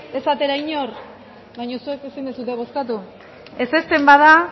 ez atera inor baina zuek ezin duzue bozkatu ezezten bada